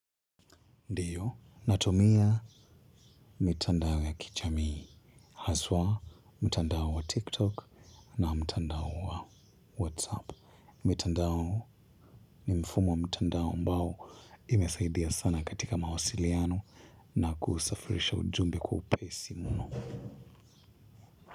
Ndiyo, natumia mitandao ya kijamii, haswa, mtandao wa tiktok na mtandao wa whatsapp. Mitandao ni mfumo wa mtandao ambao imesaidia sana katika mawasiliano. Na kusafirisha ujumbe kwa upesi mno.